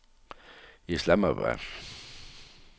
Islamabad